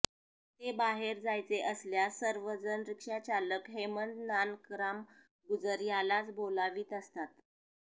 ते बाहेर जायचे असल्यास सर्व जण रिक्षाचालक हेमंत नानकराम गुजर यालाच बोलावीत असतात